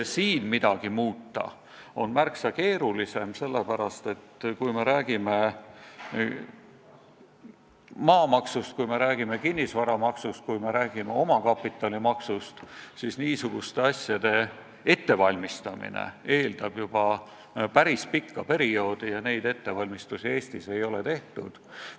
Siin midagi muuta on märksa keerulisem, sest kui me räägime maamaksust, kui me räägime kinnisvaramaksust, kui me räägime omakapitalimaksust, siis niisuguste asjade ettevalmistamine eeldab juba päris pikka perioodi ja neid ettevalmistusi ei ole Eestis tehtud.